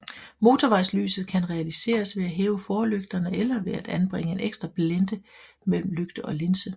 Motorvejslyset kan realiseres ved at hæve forlygterne eller ved at anbringe en ekstra blænde mellem lygte og linse